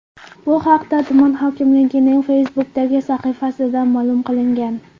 Bu haqda tuman hokimligining Facebook’dagi sahifasida ma’lum qilingan .